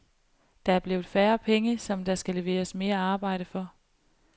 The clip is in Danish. Der er blevet færre penge, som der skal leveres mere arbejde for.